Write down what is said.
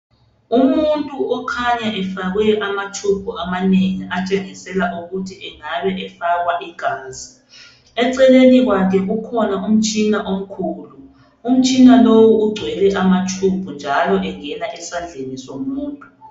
Umuntu okhanya efakwe amatshubhu amanengi, atshengisela ukuthi angabe ,efakwa igazi. Eceleni kwakhe kukhona umtshina omkhulu. Umtshina lowu ugcwele amatshubhu, njalo engena esandleni somuntu.